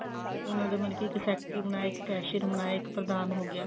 ਉਹਨਾਂ ਦਾ ਮਤਲਬ ਇੱਕ secretary ਬਣਾਇਆ ਇੱਕ cashier ਬਣਾਇਆ ਇੱਕ ਪ੍ਰਧਾਨ ਹੋ ਗਿਆ